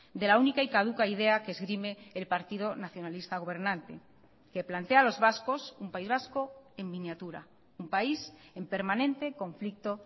de la única y caduca idea que esgrime el partido nacionalista gobernante que plantea a los vascos un país vasco en miniatura un país en permanente conflicto